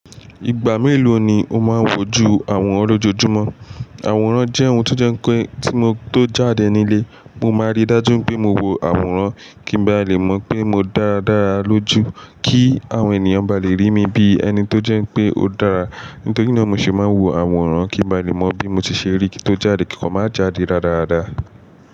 Ìgbà méló ni o máa ń wò ju àwòrán lójoojúmọ́? Àwòrán jẹ́ ohun tó jẹ́ pé tí mo tó jáde nílé, mo máa rí dájú pé mo wo àwòrán kí n ba lè mọ̀ pé mo dára lójú, kí àwọn ènìyàn ba lè rí mi bí ẹni tó jẹ́ pé ó dára. Nítorí náà mo sì máa wo àwòrán kí n ba lè mọ bí mo ti ṣe rí kí ń tó jáde kí ń kò máa jáde radarada.